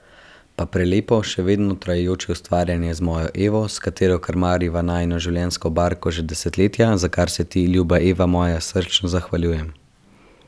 Pa prelepo, še vedno trajajoče ustvarjanje z mojo Evo, s katero krmariva najino življenjsko barko že desetletja, za kar se ti, ljuba Eva moja, srčno zahvaljujem!